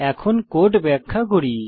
এখন কোড ব্যাখ্যা করি